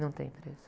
Não tem preço.